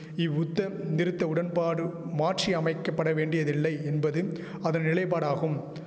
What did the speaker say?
இவ்வுத்த நிறுத்த உடன்பாடு மாற்றி அமைக்க பட வேண்டியதில்லை என்பது அதன் நிலைபாடாகும்